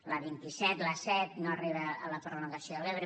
l’a vint set l’a set no arriba a la prolongació a l’ebre